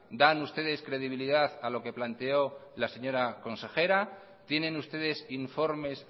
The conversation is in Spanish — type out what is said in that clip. dan ustedes credibilidad a lo que planteó la señora consejera tienen ustedes informes